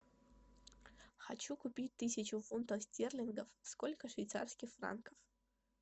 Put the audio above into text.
хочу купить тысячу фунтов стерлингов сколько швейцарских франков